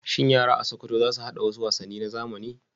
Shin yara a Sokoto za su haɗa wasu wasanni na zamani?